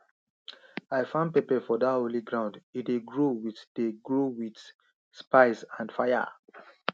i farm pepper for dat holy ground e dey grow wit dey grow wit spice and faya